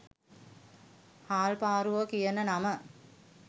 හාල්පාරුවා කියන නම